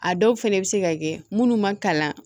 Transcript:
A dɔw fɛnɛ bɛ se ka kɛ munnu ma kalan